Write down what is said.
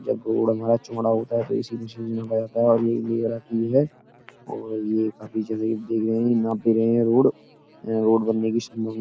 जब गोड़ हमारा चुमड़ा होता है तो इसी मशीन से नापा जाता है और ये है और ये काफी जैसे कि देख रहे हैं नाप भी रहे हैं रोड । अ रोड बनने की में --